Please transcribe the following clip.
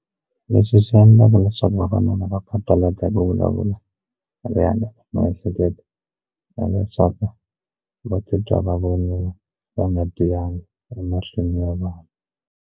Leswi swi endlaka leswaku vavanuna va papalata ku vulavula ri handle miehleketo na vavasati va titwa va voniwa va nga tiyangi emahlweni ya vanhu.